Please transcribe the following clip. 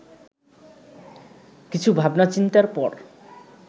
কিছু ভাবনাচিন্তার পর